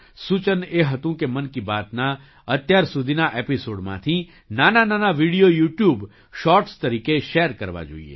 સૂચન એ હતું કે મન કી બાતના અત્યાર સુધીના એપિસૉડમાંથી નાનાનાના વિડિયો યૂટ્યૂબ શૉર્ટ્સ તરીકે શૅર કરવા જોઈએ